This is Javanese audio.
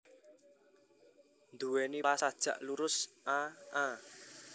Nduwèni pola sajak lurus a a